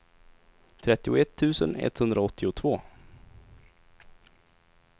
trettioett tusen etthundraåttiotvå